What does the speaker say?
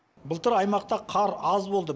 былтыр аймақта қар аз болды